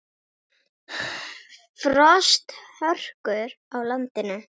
Frosthörkur á landinu